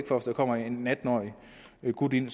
kommer en atten årig gut ind